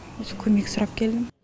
көмек сұрап келдім